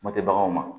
Kuma tɛ baganw ma